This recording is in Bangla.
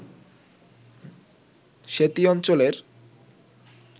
সেতী অঞ্চলের